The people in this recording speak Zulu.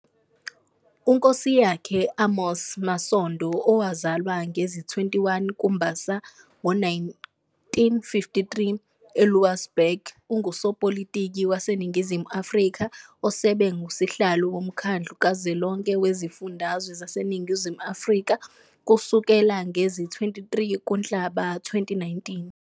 uNkosiyakhe Amos Masondo, owazwala ngezi-21 kuMbasa ngo-1953 eLouwsburg, ungusopolitiki waseNingizimu Afrika osebe ngusihlalo woMkhandlu kaZwelonke weziFundazwe zaseNingizimu Afrika kusukela ngezi-23 kuNhlaba 2019.